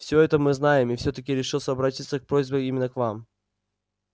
всё это мы знаем и всё-таки решили обратиться с просьбой именно к вам